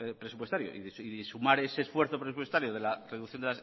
presupuestario y sumar ese esfuerzo presupuestario de la reducción